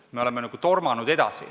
Me oleme nagu edasi tormanud.